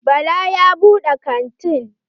Bala ya buɗe kantin.